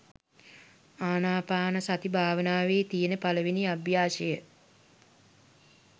ආනාපානසති භාවනාවේ තියෙන පළවෙනි අභ්‍යාසය.